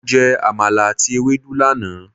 Mo jẹ Àmàlà àti Ewedu lánàá.